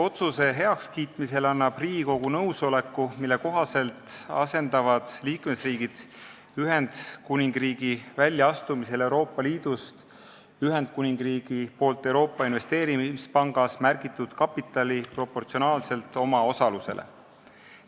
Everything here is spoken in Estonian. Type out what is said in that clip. Otsuse heakskiitmisega annab Riigikogu nõusoleku, mille kohaselt asendavad liikmesriigid Ühendkuningriigi väljaastumisel Euroopa Liidust Ühendkuningriigi poolt Euroopa Investeerimispangas märgitud kapitali proportsionaalselt oma osalusele.